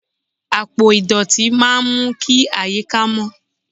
Àpò ìdọ̀tí máa ń mú kí àyíká mó.